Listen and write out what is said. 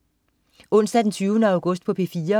Onsdag den 20. august - P4: